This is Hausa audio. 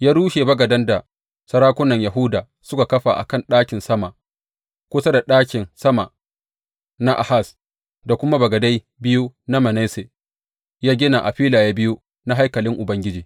Ya rushe bagadan da sarakunan Yahuda suka kafa a kan ɗakin sama kusa da ɗakin sama na Ahaz, da kuma bagadai biyu da Manasse ya gina a filaye biyu na haikalin Ubangiji.